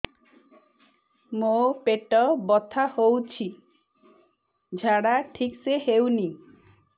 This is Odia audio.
ମୋ ପେଟ ବଥା ହୋଉଛି ଝାଡା ଠିକ ସେ ହେଉନି